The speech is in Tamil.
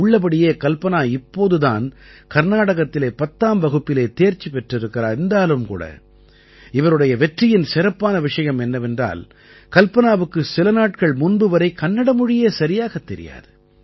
உள்ளபடியே கல்பனா இப்போது தான் கர்நாடகத்திலே 10ஆம் வகுப்பிலே தேர்ச்சி பெற்றிருக்கிறார் என்றாலும் இவருடைய வெற்றியின் சிறப்பான விஷயம் என்னவென்றால் கல்பனாவுக்கு சில நாட்கள் முன்பு வரை கன்னட மொழியே சரியாகத் தெரியாது